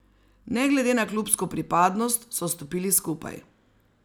Ne glede na klubsko pripadnost, so stopili skupaj.